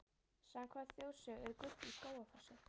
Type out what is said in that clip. Samkvæmt þjóðsögu er gull í Skógafossi.